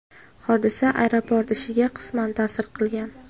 Hodisa aeroport ishiga qisman ta’sir qilgan.